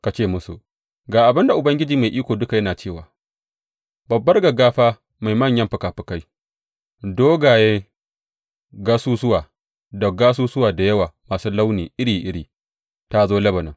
Ka ce musu, Ga abin da Ubangiji Mai Iko Duka yana cewa babbar gaggafa mai manyan fikafikai, dogayen gasusuwa da gasusuwa da yawa masu launi iri iri ta zo Lebanon.